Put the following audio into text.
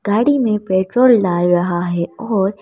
गाड़ी में पेट्रोल डाल रहा है और--